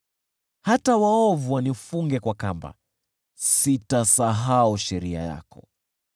Hata waovu wanifunge kwa kamba, sitasahau sheria yako.